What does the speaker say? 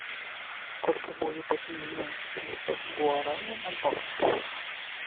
сколько будет обменять семьсот гуарани на баксы